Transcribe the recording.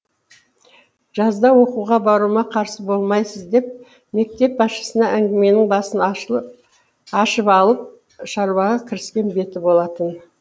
жазда оқуға баруыма қарсы болмайсыз деп мектеп басшысына әңгіменің басын ашып алып шаруаға кіріскен беті болатын